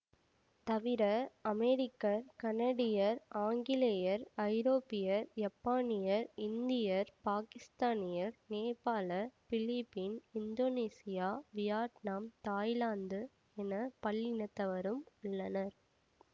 தவிர அமெரிக்கர் கனடியர் ஆங்கிலேயர் ஐரோப்பியர் யப்பானியர் இந்தியர் பாக்கிஸ்தானியர் நேபாள பிலிப்பின் இந்தோனீசியா வியட்நாம் தாய்லாந்து என பல்லினத்தவரும் உள்ளனர்